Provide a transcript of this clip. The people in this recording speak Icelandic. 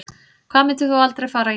Hvað myndir þú aldrei fara í